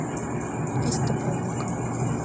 истапалука